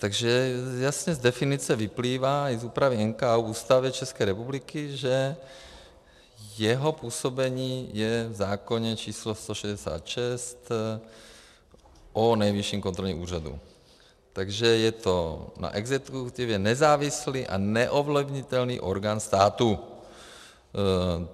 Takže jasně z definice vyplývá i z úpravy NKÚ v Ústavě České republiky, že jeho působení je v zákoně číslo 166, o Nejvyšším kontrolním úřadu, takže je to na exekutivě nezávislý a neovlivnitelný orgán státu.